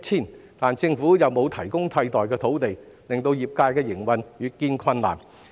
然而，政府沒有提供替代土地，令業界的營運越見困難。